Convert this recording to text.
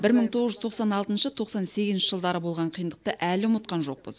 бір мың тоғыз жүз тоқсан алтыншы тоқсан сегізінші жылдары болған қиындықты әлі ұмытқан жоқпыз